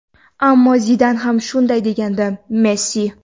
ammo Zidan ham shunday degandi – Messi.